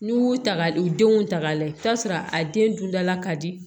N'u y'u ta ka u denw ta k'a lajɛ i bi taa sɔrɔ a den dun dala ka di